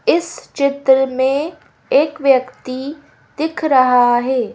इस चित्र में एक व्यक्ति दिख रहा है।